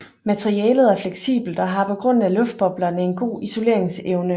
Materialet er fleksibelt og har på grund af luftboblerne en god isoleringsevne